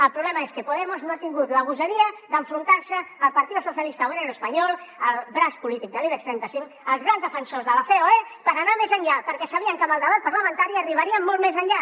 el problema és que podemos no ha tingut la gosadia d’enfrontar se al partido socialista obrero español al braç polític de l’ibex trenta cinc als grans defensors de la ceoe per anar més enllà perquè sabien que amb el debat parlamentari arribaríem molt més enllà